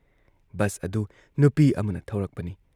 Bus ꯑꯗꯨ ꯅꯨꯄꯤ ꯑꯃꯅ ꯊꯧꯔꯛꯄꯅꯤ ꯫